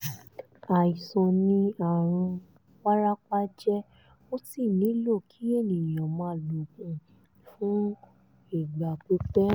àìsàn ni àrùn wárápá jẹ́ ó sì nílò kí ènìyàn máa lo oògùn fún ìgbà pípẹ́